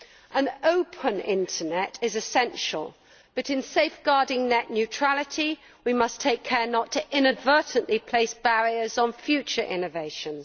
An open internet is essential but in safeguarding net neutrality we must take care not to inadvertently place barriers on future innovations.